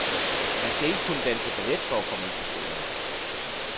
Man skal ikke kunne danse ballet for at komme ind på skolen.